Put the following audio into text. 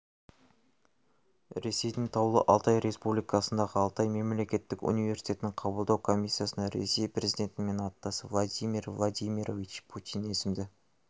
ресейдің таулы алтай республикасындағы алтай мемлекеттік университетінің қабылдау комиссиясына ресей президентімен аттас владимир владимирович путин есімді